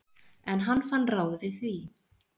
En hann fann ráð við því.